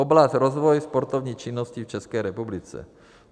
Oblast rozvoje sportovní činnosti v České republice.